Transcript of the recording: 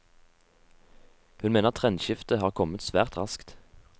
Hun mener trendskiftet har kommet svært raskt.